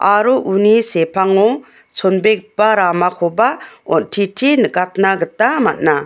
aro uni sepango chonbegipa ramakoba on·titi nikatna gita man·a.